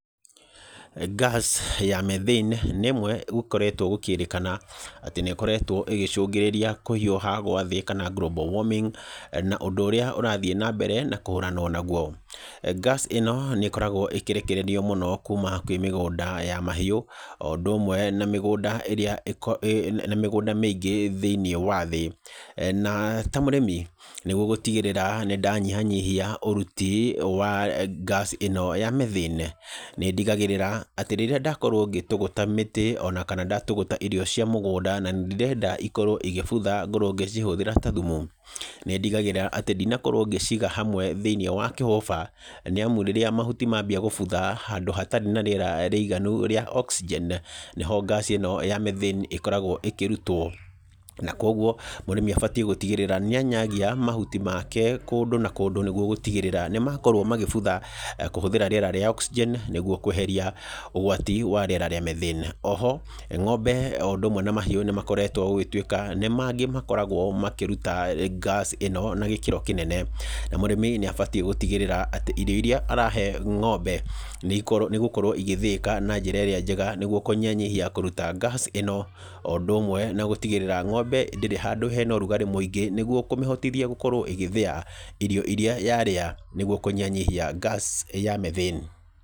Gas ya methane, nĩ ĩmwe gũkoretwo gũkĩrĩkana, atĩ nĩ ĩkoretwo ĩgĩcũngĩrĩria kũhiũha gwa thĩ kana global warming, na ũndũ ũrĩa ũrathiĩ na mbere, na kũhũranwo naguo. Gas ĩno, nĩ ĩkoragwo ĩkĩrekererio mũno kuuma kwĩ mĩgũnda ya mahiũ, o ũndũ ũmwe na mĩgũnda ĩrĩa na mĩgũnda mĩingĩ thĩiniĩ wa thĩ. Na ta mũrĩmi, nĩguo gũtigĩrĩra nĩ ndanyihanyihia ũruti wa gas ĩno ya methane, nĩ ndigagĩrĩra atĩ, rĩrĩa ndakorwo ngĩtũgũta mĩtĩ, ona kana ndatũgũta irio cia mũgũnda na ndĩrenda ikorwo igĩbutha ngorwo ngĩcihũthĩra ta thumu, nĩ ndigagĩrĩra atĩ ndinakorwo ngĩciga hamwe thĩiniĩ wa kĩhũba, nĩ amu rĩrĩa mahuti mambia gũbutha handũ hatarĩ na rĩera rĩiganu rĩa oxygen, nĩho ngaci ĩno ya methane ĩkoragwo ĩkĩrutwo. Na kũguo, mũrĩmi abatiĩ gũtigĩrĩra, nĩ anyagia mahuti make kũndũ na kũndũ nĩguo gũtigĩrĩra, nĩ makorwo magĩbutha, kũhũthĩra rĩera rĩa oxygen, nĩguo kweheria ũgwati wa rĩera rĩa methane. Oho, ng'ombe o ũndũ ũmwe na mahiũ nĩ makoretwo gũgĩtuĩka, nĩ mangĩ makoragwo makĩruta gas ĩno na gĩkĩro kĩnene. Na mũrĩmi nĩ abatiĩ gũtigĩrĩra atĩ, irio irĩa arahe ng'ombe, nĩ igũkorwo igĩthĩĩka na njĩra ĩrĩa njega nĩguo kũnyihanyihia kũruta gas ĩno, o ũndũ ũmwe na gũtigĩrĩra, ng'ombe ndĩrĩ handũ hena ũrugarĩ mũingĩ, nĩguo kũmĩhotithia gũkorwo ĩgĩthĩa irio irĩa yarĩa, nĩguo kũnyihanyihia gas ya methane.